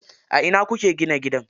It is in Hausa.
A ina kuke gina gidan?